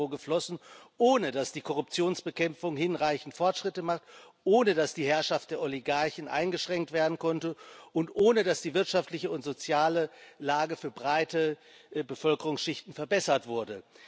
Euro geflossen, ohne dass die Korruptionsbekämpfung hinreichend Fortschritte macht, ohne dass die Herrschaft der Oligarchen eingeschränkt werden konnte und ohne dass die wirtschaftliche und soziale Lage für breite Bevölkerungsschichten verbessert wurde.